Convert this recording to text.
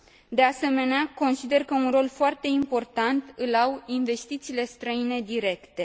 De asemenea, consider că un rol foarte important îl au investițiile străine directe.